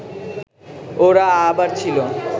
ওরা আবার ছিল